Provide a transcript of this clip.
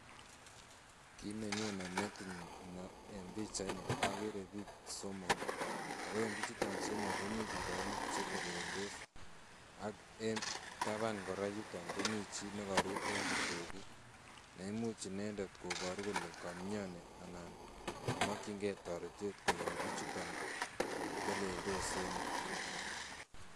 Kiit nenyone metinyun en pichaini okere piik somok. Ako en pichuton somok komi biik oeng'u cheteleldos, ak en taban kora yutok komi chii nekoru en kitogut. Neimuch inendet koporu kole komioni anan komokyinkee toretet koyop pichuton teledos en yuu.